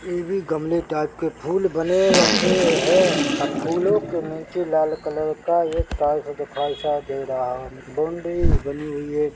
ए भी गमले टाइप के फूल बने रखे है अ फूलों के नीचे लाल कलर का एक टाइल्स दिखाई सा दे रहा है बूंदे बनी हुई है।